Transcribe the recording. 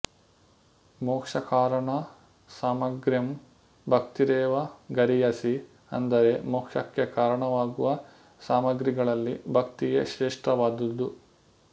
ಮೋಕ್ಷಕಾರಣ ಸಾಮಗ್ರ್ಯಾಂ ಭಕ್ತಿರೇವ ಗರೀಯಸಿ ಅಂದರೆ ಮೋಕ್ಷಕ್ಕೆ ಕಾರಣವಾಗುವ ಸಾಮಗ್ರಿಗಳಲ್ಲಿ ಭಕ್ತಿಯೇ ಶ್ರೇಷ್ಠವಾದುದು